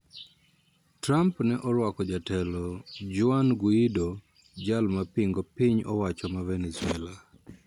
Trump ne oruako jatelo Juan Guaido jal ma pingo piny owacho ma Venezuela